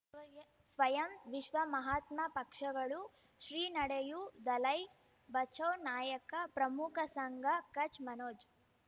ಸ್ವಯಂ ವಿಶ್ವ ಮಹಾತ್ಮ ಪಕ್ಷಗಳು ಶ್ರೀ ನಡೆಯೂ ದಲೈ ಬಚೌ ನಾಯಕ ಪ್ರಮುಖ ಸಂಘ ಕಚ್ ಮನೋಜ್